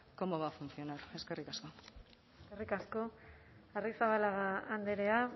cómo va a funcionar eskerrik asko arrizabalaga andrea